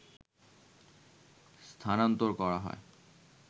স্থানান্তর করা হয়